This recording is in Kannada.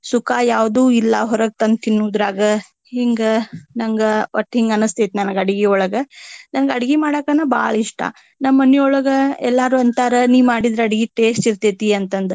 ಸುಖ ಯಾವ್ದೂ ಇಲ್ಲಾ ಹೊರಗ ತಂದ ತಿನ್ನೊದ್ರಾಗ. ಹಿಂಗ ನಂಗ ಒಟ್ಟ ಹಿಂಗ ಅನಸ್ತೇತಿ ನನಗ ಅಡಗಿಯೊಳಗ. ನಂಗ ಅಡಗಿ ಮಾಡಾಕನ ಬಾಳ ಇಷ್ಟಾ. ನಮ್ಮ ಮನಿಯೊಳಗ ಎಲ್ಲಾರು ಅಂತಾರ ನೀ ಮಾಡಿದ್ರ ಅಡಗಿ taste ಇರ್ತೆತಿ ಅಂತ ಅಂದ.